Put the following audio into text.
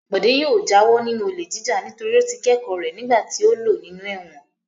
Bọ̀dé yóò jáwọ́ nínú olè jíjà nítorí ó ti kẹ́kọ̀ọ́ rẹ̀ nígbà tí ó lò nínú ẹ̀wọ̀n.